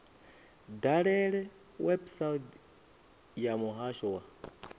dalele website ya muhasho wa